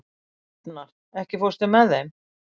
Hafnar, ekki fórstu með þeim?